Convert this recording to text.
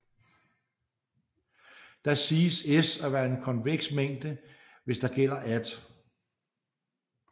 Da siges S at være en konveks mængde hvis der gælder at